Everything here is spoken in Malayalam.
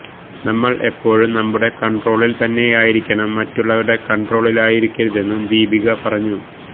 നമ്മള് എപ്പോഴും നമ്മുടെ കണ്ട്രോളില് തന്നെയായിരിക്കണം മറ്റുള്ളവരുടെ കണ്ട്രോളിലായിരിക്കരുതെന്നും ദീപിക പറഞ്ഞു